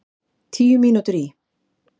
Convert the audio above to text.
Tíu mínútur í